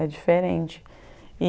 É diferente.